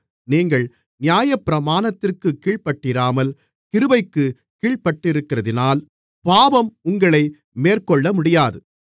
நீங்கள் நியாயப்பிரமாணத்திற்குக் கீழ்ப்பட்டிராமல் கிருபைக்குக் கீழ்பட்டிருக்கிறதினால் பாவம் உங்களை மேற்கொள்ளமுடியாது